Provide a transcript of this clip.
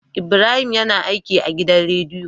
Ibrahim yAna aiki a gidan rediyo